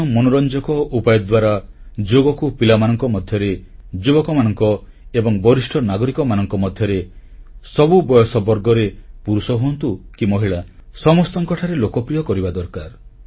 ନୂତନ ମନୋରଂଜକ ଉପାୟ ଦ୍ୱାରା ଯୋଗକୁ ପିଲାମାନଙ୍କ ମଧ୍ୟରେ ଯୁବକ ଏବଂ ବରିଷ୍ଠ ନାଗରିକମାନଙ୍କ ମଧ୍ୟରେ ସବୁ ବୟସ ବର୍ଗରେ ପୁରୁଷ ହୁଅନ୍ତୁ କି ମହିଳା ସମସ୍ତଙ୍କଠାରେ ଲୋକପ୍ରିୟ କରିବା ଦରକାର